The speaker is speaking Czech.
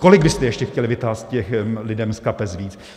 Kolik byste ještě chtěli vytahat těm lidem z kapes víc?